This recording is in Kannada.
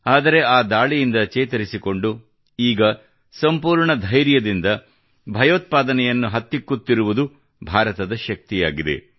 ಆದರೆ ಆ ದಾಳಿಯಿಂದ ಚೇತರಿಸಿಕೊಂಡು ಈಗ ಸಂಪೂರ್ಣ ಧೈರ್ಯದಿಂದ ಭಯೋತ್ಪಾದನೆಯನ್ನು ಹತ್ತಿಕ್ಕುತ್ತಿರುವುದು ಭಾರತದ ಶಕ್ತಿಯಾಗಿದೆ